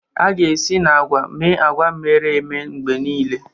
A ga-esi na agwa mee agwa emere eme mgbe niile.